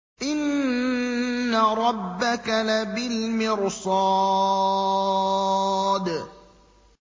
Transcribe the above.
إِنَّ رَبَّكَ لَبِالْمِرْصَادِ